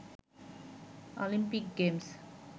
Olympic games